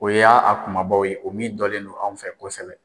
O ya a kumabaw ye o min dɔlen don anw fɛ kosɛbɛ.